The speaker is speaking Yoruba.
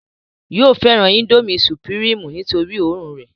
yóò fẹ́ràn índómì sùpìrímù nítorí òórùn rẹ̀